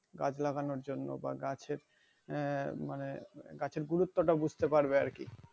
গাছ লাগানোর জন্য বা গাছের আহ মানে গুরুত্ব টা বুঝতে পারবে আর কি